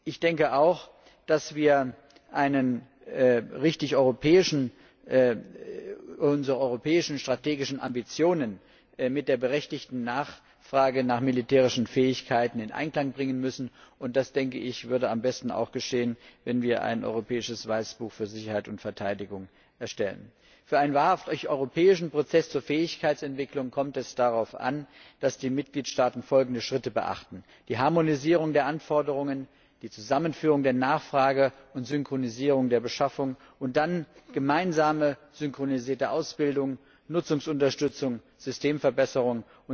Ich denke auch, dass wir unsere europäischen strategischen Ambitionen mit der berechtigten Nachfrage nach militärischen Fähigkeiten in Einklang bringen müssen, und das würde am besten dadurch geschehen, dass wir ein europäisches Weißbuch für Sicherheit und Verteidigung erstellen. Für einen wahrhaft europäischen Prozess zur Fähigkeitsentwicklung kommt es darauf an, dass die Mitgliedstaaten folgende Schritte beachten die Harmonisierung der Anforderungen, die Zusammenführung der Nachfrage und Synchronisierung der Beschaffung und dann gemeinsame synchronisierte Ausbildung, Nutzungsunterstützung, Systemverbesserung.